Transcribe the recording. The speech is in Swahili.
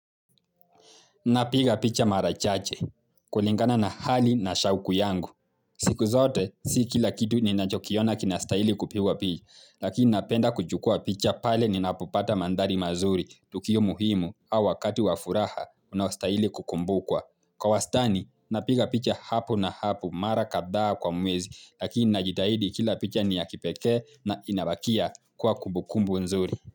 Napiga picha mara chache. Kulingana na hali na shauku yangu. Siku zote, si kila kitu ninachokiona kinastahili kupigwa picha. Lakini napenda kuchukua picha pale ninapopata mandhari mazuri. Tukio muhimu au wakati wa furaha, unaostahili kukumbukwa. Kwa wastani, napiga picha hapo na hapo mara kadhaa kwa mwezi. Lakini najitahidi kila picha ni ya kipekee na inabakia kuwa kumbukumbu nzuri.